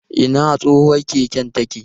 Ina tsohuwar keken take?